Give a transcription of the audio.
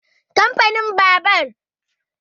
Kamfanin Jincheng sanannen kamfanin babur ne.